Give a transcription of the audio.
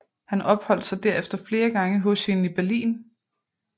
Han opholdt sig derefter flere gange hos hende i Berlin